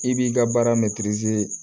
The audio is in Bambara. I b'i ka baara